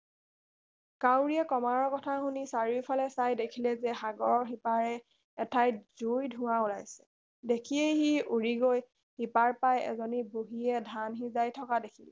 কাউৰীয়ে কমাৰৰ কথা শুনি চাৰিওফালে চাই দেখিলে যে সাগৰৰ সিপাৰ এঠাইত জুইৰ ধোৱা ওলাইছে দেখিয়েই সি উৰি গৈ সিপাৰ পাই এজনী বুঢ়ীয়ে ধান সিজাই থকা দেখিলে